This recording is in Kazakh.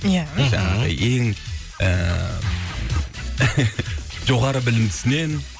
ия ең ііі жоғары білімдісінен